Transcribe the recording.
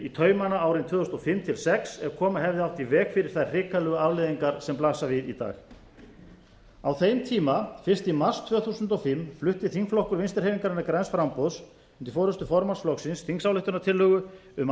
í taumana árin tvö þúsund og fimm til tvö þúsund og sex ef koma hefði átt í veg fyrir þær hrikalegu afleiðingar sem blasa við í dag á þeim tíma fyrst í mars tvö þúsund og fimm flutti þingflokkur vinstri hreyfingarinnar græns framboðs undir forustu formanns flokksins þingsályktunartillögu um